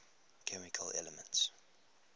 chemical elements